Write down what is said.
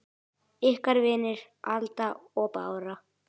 Ykkar vinir, Alda og Bára.